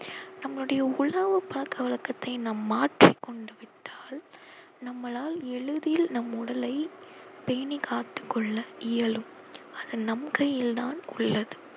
நம்மளுடைய உணவு பழக்க வழக்கத்தை நாம் மாற்றிக் கொண்டு விட்டால் நம்மளால் எளிதில் நம் உடலை பேணி காத்துக் கொள்ள இயலும் அது நம் கையில் தான் உள்ளது